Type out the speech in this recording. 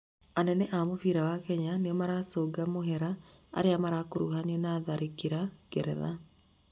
anene a mũbĩra wa Kenya nĩmaracũnga mũhera arĩa marakũrũhanirio na tharĩkĩra ngeretha